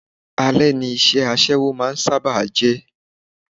Ale ni iṣẹ́ aṣẹ́wó máa ń sábà jẹ́.